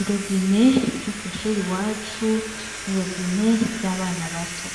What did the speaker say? Irobine ryo kwishuri iwacu n'irobine ry'abana bato ,